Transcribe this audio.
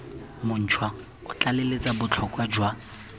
montšhwa o tlaleletsa botlhokwa jwa